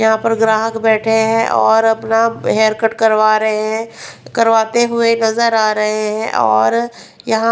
यहां पर ग्राहक बैठे हैं और अपना हेयर कट करवा रहे हैं करवाते हुए नजर आ रहे हैं और यहां--